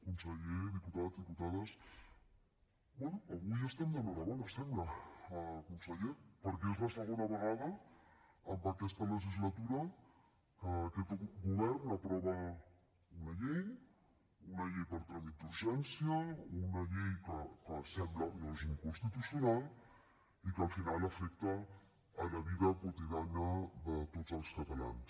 conseller diputats diputades bé avui estem d’enhorabona sembla conseller perquè és la segona vegada en aquesta legislatura que aquest govern aprova una llei una llei per tràmit d’urgència una llei que sembla no és inconstitucional i que al final afecta la vida quotidiana de tots els catalans